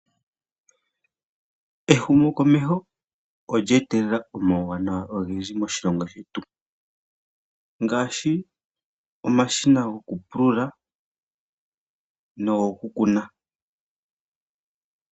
Ehumokomeho olye etelela omauwanawa ogendji moshilongo shetu, ngaashi omashina gokupulula nogokukuna.